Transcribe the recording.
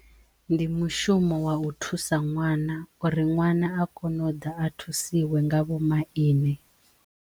Ndi mushumo wa u thusa ṅwana uri ṅwana a kono u ḓa a thusiwe nga vho maine.